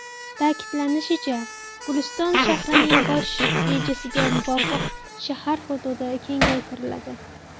Ta’kidlanishicha, Guliston shahrining bosh rejasiga muvofiq shahar hududi kengaytiriladi.